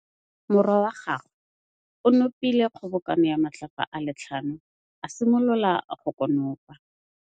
Morwa wa gagwe o nopile kgobokanô ya matlapa a le tlhano, a simolola go konopa.